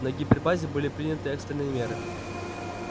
на гипербазе были приняты экстренные меры